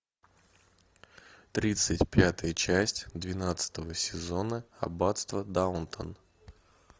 тридцать пятая часть двенадцатого сезона аббатство даунтон